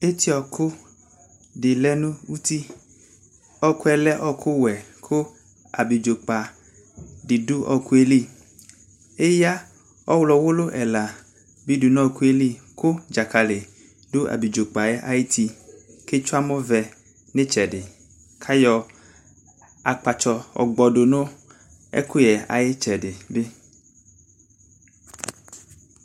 Etiɔku de lɛ no uti Ɛkuɛ lɛ ɔkuwɛ ko abidzo kpa de do ɔkuɛ li Eya ɔwlɔ wulu ɛla be do no ɛkuɛ li ko dzakale do abidzo kpaɛ ayiti ke tsue amɔvɛ no itsɛde, kayɔ akpatsɔ yɔ gbɔdu no ɛkuyɛɛ aye tsɛde be